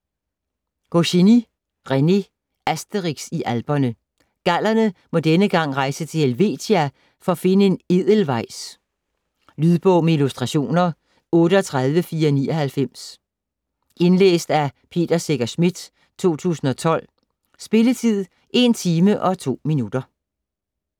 Goscinny, René: Asterix i Alperne Gallerne må denne gang rejse til Helvetia for at finde en edelweiss. Lydbog med illustrationer 38499 Indlæst af Peter Secher Schmidt, 2012. Spilletid: 1 timer, 2 minutter.